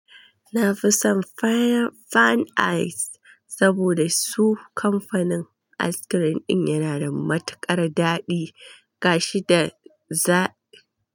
Na fi son Fan Ice saboda su kamfanin ice cream ɗin yana da matukar daɗi gashi da zaƙi.